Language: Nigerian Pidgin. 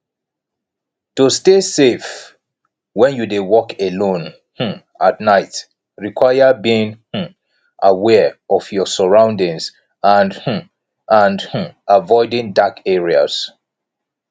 to stay safe when you dey walk alone um at night require being um aware of your surroundings and um and um avioding dark areas